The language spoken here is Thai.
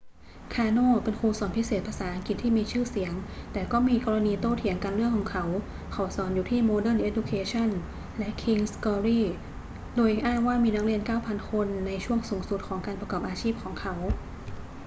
คาร์โน เป็นครูสอนพิเศษภาษาอังกฤษที่มีชื่อเสียงแต่ก็มีกรณีโต้เถียงกันเรื่องเขา เขาสอนอยู่ที่ modern education และ king's glory โดยอ้างว่ามีนักเรียน 9,000 คนในช่วงสูงสุดของการประกอบอาชีพของเขา